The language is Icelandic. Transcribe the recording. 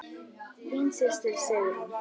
Þín systir Sigrún.